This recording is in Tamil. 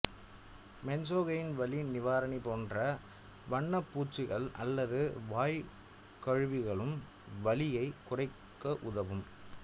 மென்ஸோகெயின் வலி நிவாரணி போன்ற வண்ணப்பூச்சுகள் அல்லது வாய் கழுவிகளும் வலியை குறைக்க உதவும்